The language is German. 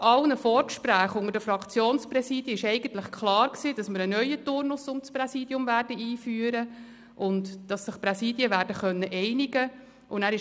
Nach all den Vorgesprächen unter den Fraktionspräsidien war eigentlich klar, dass wir einen neuen Turnus betreffend das Präsidium einführen und dass sich die Präsidien einigen werden.